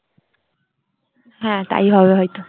হ্যাঁ তাই হবে হয়তো।